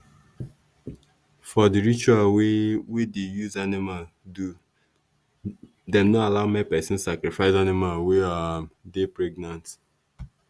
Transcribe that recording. for the ritual wey wey dey use animal do dem no allow make person sacrifice animal wey um dey pregnant.